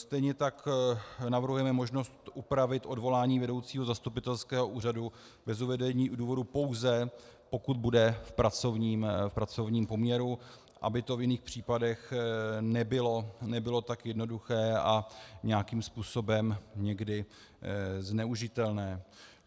Stejně tak navrhujeme možnost upravit odvolání vedoucího zastupitelského úřadu bez uvedení důvodu pouze, pokud bude v pracovním poměru, aby to v jiných případech nebylo tak jednoduché a nějakým způsobem někdy zneužitelné.